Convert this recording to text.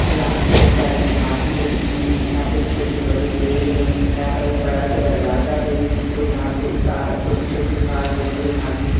यहाँ पे बहुत सारी घास भी लगी है यहाँ पे छोटे बड़े पेड़ हैं यहाँ का एक बड़ा सा दरवाजा है और ये यहाँ पे एक आ छोटी-छोटी घास बड़ी-बड़ी घास भी है।